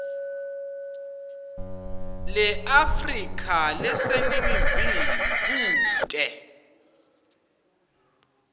leafrika leseningizimu kute